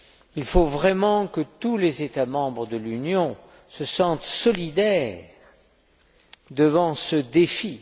Il faut vraiment que tous les États membres de l'Union se sentent solidaires devant ce défi.